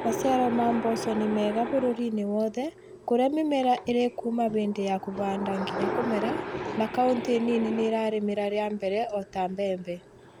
Maciaro ma mboco nĩ mega bũrũriinĩ wothe kũrĩa mĩmera ĩrĩkuuma hĩndĩ ya kũhanda nginya kũmera na kauntĩnini nĩ irarĩmĩra rĩa mbere o ta mbembe